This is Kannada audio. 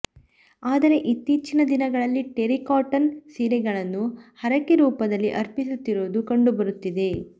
ಆದರೆ ಇತ್ತೀಚಿನ ದಿನಗಳಲ್ಲಿ ಟೆರಿಕಾಟನ್ ಸೀರೆಗಳನ್ನು ಹರಕೆ ರೂಪದಲ್ಲಿ ಅರ್ಪಿಸುತ್ತಿರುವುದು ಕಂಡುಬರುತ್ತಿದೆ